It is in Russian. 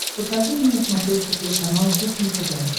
покажи мне на смотрешке телеканал кухня тв